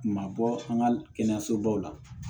Ma bɔ an ka kɛnɛyasobaw la